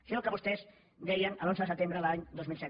això és el que vostès deien l’onze de setembre de l’any dos mil set